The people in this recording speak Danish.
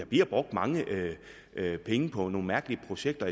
bliver brugt mange penge på nogle mærkelige projekter